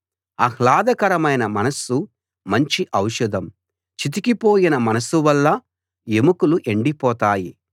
ఆహ్లాదకరమైన మనస్సు మంచి ఔషధం చితికిపోయిన మనస్సు వల్ల ఎముకలు ఎండిపోతాయి